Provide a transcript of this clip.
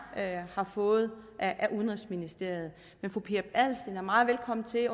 har fået af udenrigsministeriet men fru pia adelsteen er meget velkommen til